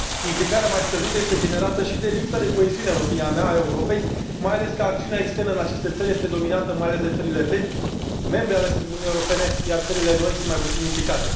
Implicarea mai scăzută este generată și de lipsa de coeziune, în opinia mea, a Europei, mai ales că acțiunea externă în aceste țări este dominată mai ales de țările vechi, membre ale Uniunii Europene, iar țările noi sunt mai puțin implicate.